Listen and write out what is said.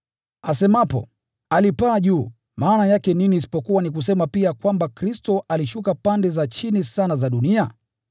(Asemapo “alipaa juu,” maana yake nini isipokuwa ni kusema pia kwamba Kristo alishuka pande za chini sana za dunia?